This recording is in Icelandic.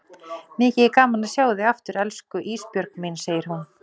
Mikið er gaman að sjá þig aftur elsku Ísbjörg mín, segir hún.